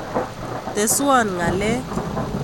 Teswan ngalek